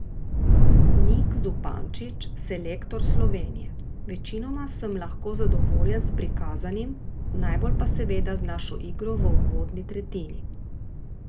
Nik Zupančič, selektor Slovenije: "Večinoma sem lahko zadovoljen s prikazanim, najbolj pa seveda z našo igro v uvodni tretjini.